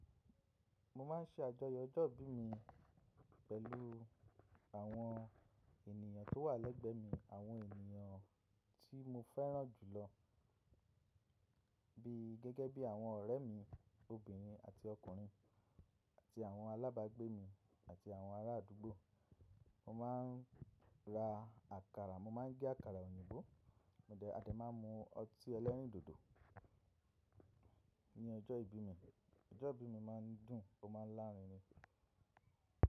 Mo máa ń ṣe àjọyọ̀ ọjọ́ ìbí mi pẹ̀lú àwọn ènìyàn tó wà lẹ́gbẹ́ mi, àwọn ènìyàn tí mo fẹ́ràn jù lọ bií gẹ́gẹ́ bí àwọn ọ̀rẹ́ mi obìnrin àti ọkùnrin àti àwọn alábàgbé mi àti àwọn ará àdúgbò. Mo máa ń ra àkàrà, mo máa ń gé àkàrà òyìnbó, mo de, a dẹ́ máa ń mu ọtí ẹlẹ́rìndòdò ní ọjọ́ ìbí mi. Ọjọ́ ìbí mi máa ń dùn, ó máa ń lárinrin.